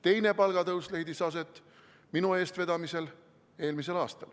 Teine palgatõus leidis aset minu eestvedamisel eelmisel aastal.